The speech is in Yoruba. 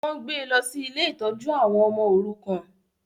Wọ́n gbé lọ sí ilé ìtọ́jú àwọn ọmọ òrukàn